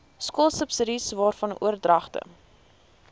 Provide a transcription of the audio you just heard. skoolsubsidies waarvan oordragte